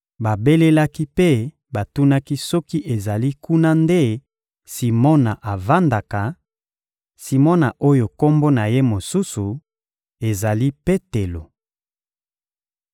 Babelelaki mpe batunaki soki ezali kuna nde Simona avandaka, Simona oyo kombo na ye mosusu ezali «Petelo.»